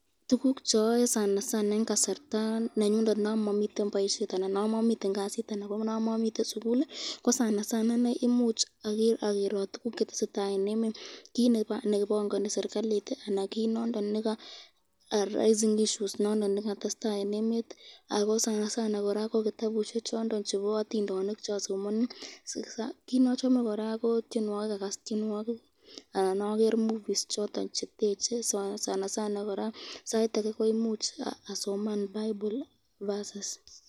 Tukuk choyoye yon mamiten boisyet ii imuch agerot tukuk chetesetai eng emet, kit nebongani srikalit , kitabusyek chondon chebo atindonik cheasomani .